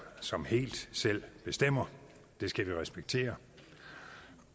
som helt selv bestemmer det skal vi respektere